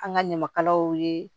An ka ɲamakalaw ye